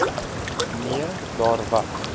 nee daar was